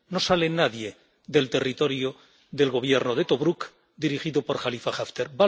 No sale nadie del territorio del Gobierno de Tobruk, dirigido por Jalifa Haftar.